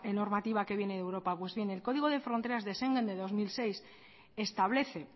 normativa que viene de europa pues bien el código de fronteras de schengen de dos mil seis establece